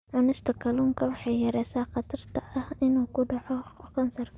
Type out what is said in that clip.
Cunista kalluunka waxay yaraynaysaa khatarta ah inuu ku dhaco kansarka.